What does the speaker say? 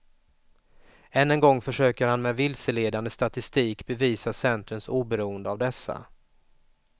Än en gång försöker han med vilseledande statistik bevisa centerns oberoende av dessa.